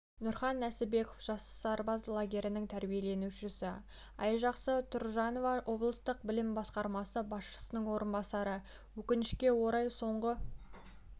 нұрхан нәсібеков жас сарбаз лагерінің тәрбиеленушісі айжақсы тұржанова облыстық білім басқармасы басшысының орынбасары өкінішке орай соңғы